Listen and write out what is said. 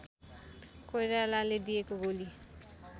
कोइरालाले दिएको गोली